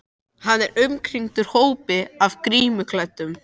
Hann er umkringdur hópi af grímuklæddum